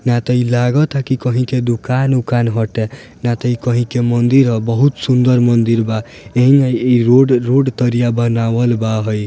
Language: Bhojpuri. ना त इ लगता की कहीं के दुकान उकान हटे ना त इ कहीं के मंदिर ह बहुत ही सुंदर मंदिर बा एहिमें रोड रोड तरिया बनावल बा इ।